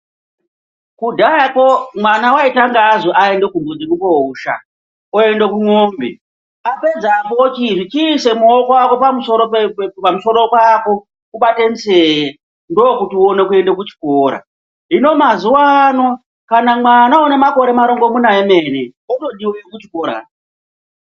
Kudhayako mwana waitanga azwi aende kumbudzi kousha oenda kumombe apedzepo apedzepo ochizi chiisa muoko wako pamusoro pako ubate nzee, ndookuti utange kuenda kuchikora hino mazuvano ano kana mwana unemarongomuna emene otodiwa kuchikora.